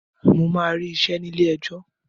Mo máa rí iṣẹ́ ní ilé ẹjọ́.